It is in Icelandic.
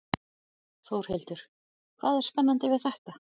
Þórhildur: Hvað er spennandi við þetta?